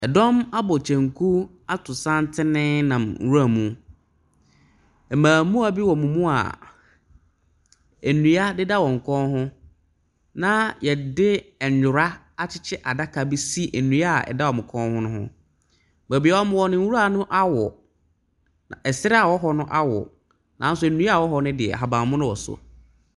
Ɛdɔm abɔ kyenku ato santene nam ewura mu. Mbɛɛmua bi wɔ ɔmo mua ndua deda wɔn kɔn ho na yɛde nyora akyekyere adaka bi si dua ɛda wɔmo kɔn no ɛho. Beebia ɔmo da no nwura no awo, ɛsrɛ ɛwɔ hɔ no awo nanso nsia ɛwɔ hɔ no deɛ ahabanmono wɔ so.